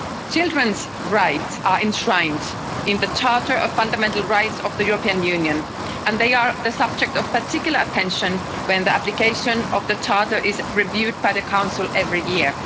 Children's rights are enshrined in the Charter of Fundamental Rights of the European Union and they are the subject of particular attention when the application of the Charter is reviewed by the Council every year.